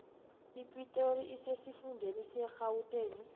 ipitori isesifundeni serhawuteni